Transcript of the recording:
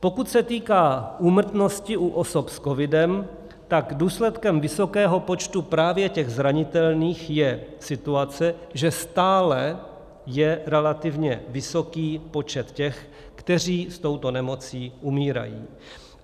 Pokud se týká úmrtnosti u osob s covidem, tak důsledkem vysokého počtu právě těch zranitelných je situace, že stále je relativně vysoký počet těch, kteří s touto nemocí umírají.